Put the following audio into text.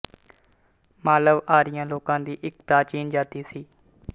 ਮਾਲਵ ਆਰੀਆ ਲੋਕਾਂ ਦੀ ਇੱਕ ਪ੍ਰਾਚੀਨ ਜਾਤੀ ਸੀ